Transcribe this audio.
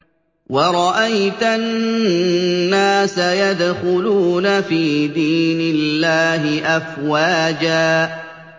وَرَأَيْتَ النَّاسَ يَدْخُلُونَ فِي دِينِ اللَّهِ أَفْوَاجًا